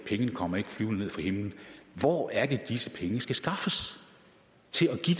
ikke kommer flyvende ned fra himlen hvor er det disse penge skal skaffes til at give